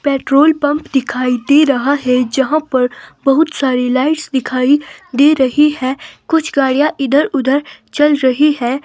Petrol pump दिखाई दे रहा है जहां पर बहुत सारी लाइट्स दिखाई दे रही है कुछ गाड़ियां इधर-उधर चल रही है।